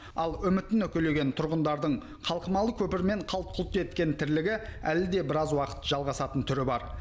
ал үмітін үкілеген тұрғындардың қалқымалы көпірмен қалт құлт еткен тірлігі әлі де біраз уақыт жалғасатын түрі бар